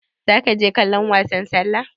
Zaki je kallon wasan sallah?